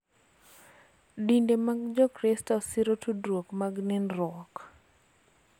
Dinde mag Jokristo siro tudruok mag nindruok .